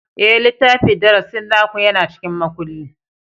Ee, littafin darasi naku yana cikin makulli.